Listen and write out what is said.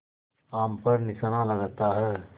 आम पर निशाना लगाता है